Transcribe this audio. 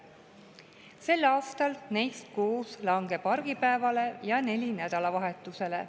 Sellel aastal langeb neist 6 argipäevale ja 4 nädalavahetusele.